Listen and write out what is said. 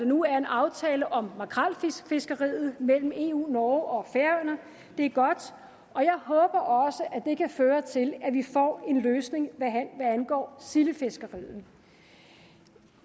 nu er en aftale om makrelfiskeriet mellem eu norge og færøerne det er godt og jeg håber også at det kan føre til at vi får en løsning hvad angår sildefiskeriet